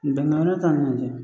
yɔrɔ lajɛ